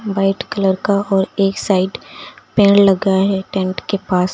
White colour का और एक साइड पेड़ लगा है टेंट के पास।